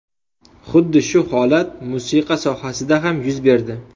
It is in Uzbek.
Xuddi shu holat musiqa sohasida ham yuz berdi.